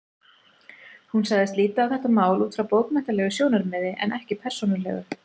Hún sagðist líta á þetta mál út frá bókmenntalegu sjónarmiði en ekki persónulegu.